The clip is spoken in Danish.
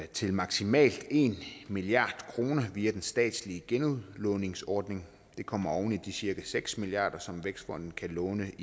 til maksimalt en milliard kroner via den statslige genudlåningsordning det kommer oven i de cirka seks milliard som vækstfonden kan låne